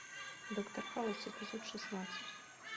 доктор хаус эпизод шестнадцать